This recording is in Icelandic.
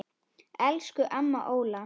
Elsku amma Óla.